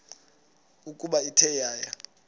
ukuba ithe yaya